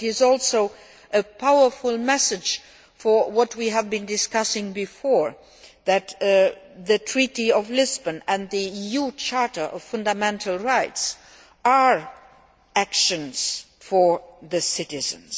It is also a powerful message reiterating what we have been discussing before, that the Treaty of Lisbon and the EU Charter of Fundamental Rights are actions for the citizens.